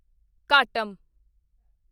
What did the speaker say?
ਘਾਟਮ